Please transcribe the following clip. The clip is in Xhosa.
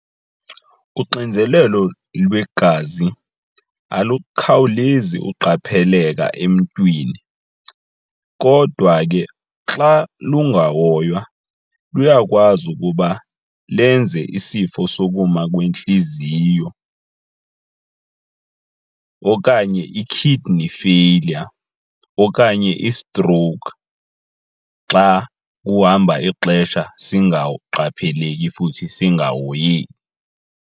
Uxinzelelo lwegazi alukhawulezi uqapheleka emntwini kodwa ke xa lungahoywa luyakwazi ukuba lenze isifo sokuma kwentliziyo okanye i-kidney failure okanye i-stroke xa uhamba ixesha singaqapheleki futhi singahoyeki.